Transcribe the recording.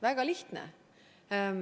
Väga lihtne.